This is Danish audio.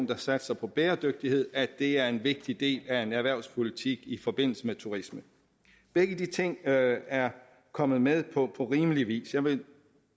der satser på bæredygtighed det er en vigtig del af en erhvervspolitik i forbindelse med turisme begge de ting er er kommet med på rimelig vis jeg vil